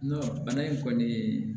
Bana in kɔni